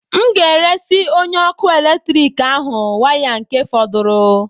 M nga-eresị onye ọkụ eletrik ahụ waya nke fọdụrụ